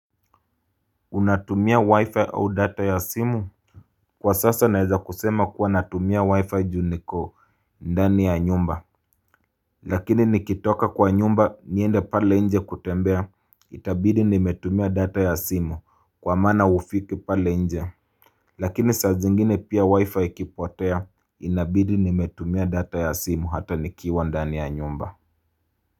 Unatumia wi-fi au data ya simu? Kwa sasa naeza kusema kuwa natumia wi-fi juu niko ndani ya nyumba Lakini nikitoka kwa nyumba niende pale nje kutembea itabidi nimetumia data ya simu kwa maana ufiki pale nje Lakini saa zingine pia wi-fi ikipotea inabidi nimetumia data ya simu hata nikiwa ndani ya nyumba.